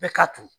Bɛɛ ka to